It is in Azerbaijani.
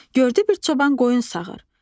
Gördü bir çoban qoyun sağır.